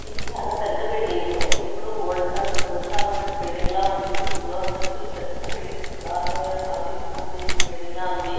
ఇది చాలా పెద్ద బిల్డింగు ఎప్పుడో ఓల్డ్ కాల్ ఓల్డ్ కాలం నాటి బిల్డింగ్ లా ఉంది ఇది ఎన్నో అంతస్తుల పెద్ద బిల్డింగ్ పురాతనమైన ఆఫీస్ కి సంబంధించిన బిల్డింగ్ లా ఉంది.